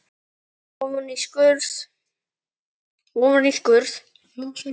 Ofan í skurði.